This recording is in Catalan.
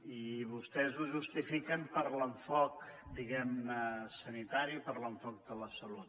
i vostès ho justifiquen per l’enfoc diguem ne sanitari per l’enfoc de la salut